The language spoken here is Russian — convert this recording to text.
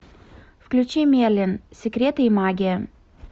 включи мерлин секреты и магия